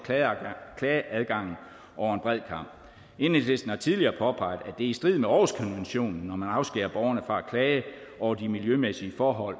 klageadgangen over en bred kam enhedslisten har tidligere påpeget at i strid med århus konventionen når man afskærer borgerne fra at klage over de miljømæssige forhold